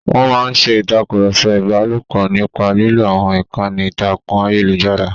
Wọ́n máa ń ṣe ìtàkùrọ̀sọ ìbálòpọ̀ nípa lílo àwọn ìkànnì ìtàkùn ayélujára.